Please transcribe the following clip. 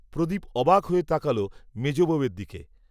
প্রদীপ অবাক হয়ে তাকাল মেজ বৌয়ের দিকে